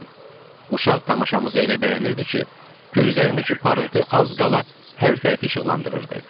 Uşaq tamaşamızı elə bəyənirdi ki, gözlərindəki parıltı az qala hər tərəfi işıqlandırırdı.